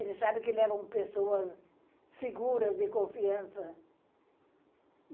Eles sabem que levam pessoas seguras, de confiança.